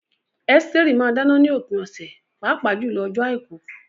Esteri máa ń dáná ní òpin ọ̀sẹ̀, pàápàá jùlọ ọjọ́ Àìkú.